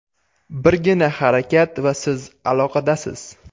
Birgina harakat va siz aloqadasiz!